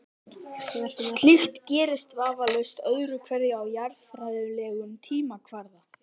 Slíkt gerist vafalaust öðru hverju á jarðfræðilegum tímakvarða.